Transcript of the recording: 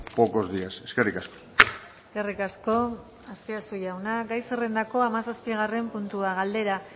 pocos días eskerrik asko eskerrik asko azpiazu jauna gai zerrendako hamazazpigarren puntua galdera